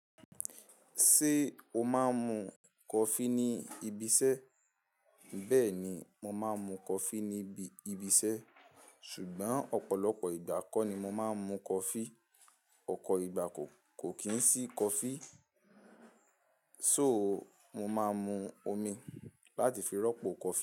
Ṣé o máa ń mu coffee ní ibi iṣẹ́? Bẹ́ẹ̀ ni, mo máa ń mu coffee ní ibi iṣẹ́. Ṣùgbọ́n ọ̀pọ̀lọpọ̀ ìgbà kọ́ ni mo máa ń mu coffee. Ọ̀po ìgbà kò kì n sí coffee, só mo máa mu omi láti fi rọ́pò coffee.